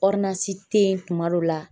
te yen tuma dɔ la